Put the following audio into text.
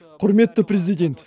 құрметті президент